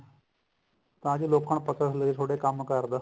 ਤਾਂ ਜੋ ਲੋਕਾਂ ਨੂੰ ਪਤਾ ਚੱਲੇ ਤੁਹਾਡੇ ਕੰਮ ਕਾਰ ਦਾ